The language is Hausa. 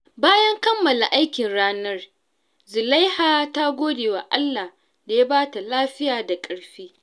Bayan kammala aikin ranar, Zulaiha ta gode wa Allah da ya ba ta lafiya da ƙarfi.